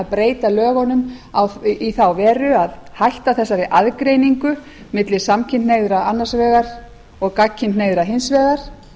breyta lögunum í þá veru að hætta þessari aðgreiningu milli samkynhneigðra annars vegar og gagnkynhneigðra hins vegar